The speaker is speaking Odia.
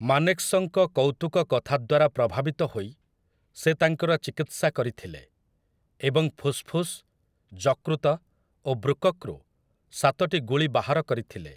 ମାନେକ୍‌ଶଙ୍କ କୌତୁକ କଥା ଦ୍ୱାରା ପ୍ରଭାବିତ ହୋଇ ସେ ତାଙ୍କର ଚିକିତ୍ସା କରିଥିଲେ, ଏବଂ ଫୁସ୍‌ଫୁସ୍‌, ଯକୃତ ଓ ବୃକକ୍‌ରୁ ସାତଟି ଗୁଳି ବାହାର କରିଥିଲେ ।